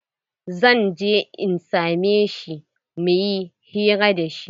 Zan je in same shi muyi hira da shi.